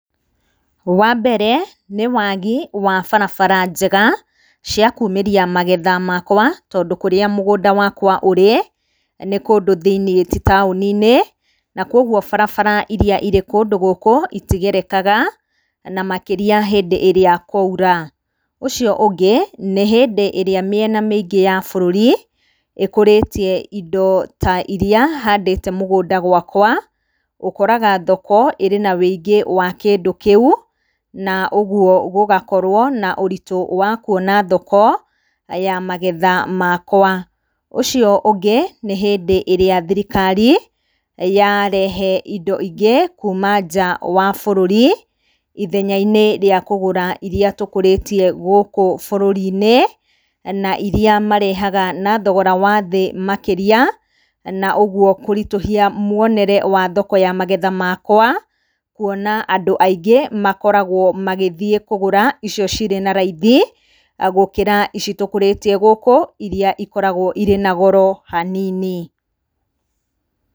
Wambere nĩ wagi wa barabara njega cia kumĩria magetha makwa tondũ kũrĩa mũgunda wakwa ũrĩ nĩ kũndũ thĩiniĩ tĩ taũni-inĩ, na kwogwo barabara iria irĩ kũndũ gũkũ itigerekaga na makĩria hĩndĩ ĩrĩa kwaura. Ũcio ũngĩ nĩ hĩndĩ ĩrĩa mĩena mĩingĩ ya bũrũri ĩkũrĩtie indo ta iria handĩte mũgũnda gwakwa, ũkoraga thoko ĩrĩ na wĩingĩ wa kĩndũ kĩu na ũgwo gũgakorwo na ũritũ wa kwona thoko ya magetha makwa. Ũcio ũngĩ nĩ hĩndĩ ĩrĩa thirikari yarehe indo ingĩ kuuma nja wa bũrũri ithenya-inĩ rĩa kũgũra iria tũkũrĩtie gũkũ bũrũri-inĩ na iria marehaga na thogora wa thĩ makĩria na ũgwo kũritũhia mwonere wa thoko ya magetha makwa kwona andũ aingĩ makoragwo magĩthiĩ kũgũra icio cirĩ na raithi, gũkĩra ici tũkũrĩtie gũkũ iria ikoragwo irĩ na goro hanini .